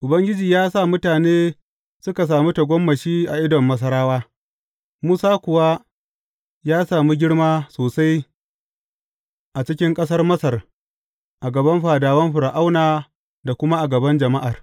Ubangiji ya sa mutane suka sami tagomashi a idon Masarawa, Musa kuwa ya sami girma sosai a cikin ƙasar Masar a gaban fadawan Fir’auna da kuma a gaban jama’ar.